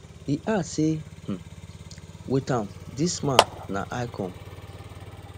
e add say um wit am dis man na icon